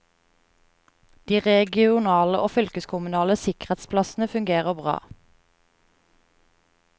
De regionale og fylkeskommunale sikkerhetsplassene fungerer bra.